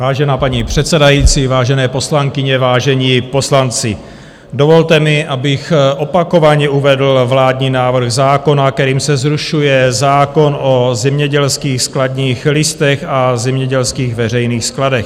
Vážená paní předsedající, vážené poslankyně, vážení poslanci, dovolte mi, abych opakovaně uvedl vládní návrh zákona, kterým se zrušuje zákon o zemědělských skladních listech a zemědělských veřejných skladech.